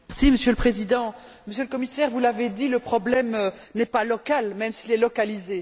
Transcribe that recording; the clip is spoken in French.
Monsieur le Président, Monsieur le Commissaire, vous l'avez dit, le problème n'est pas local, même s'il est localisé.